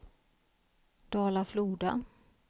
Dala-Floda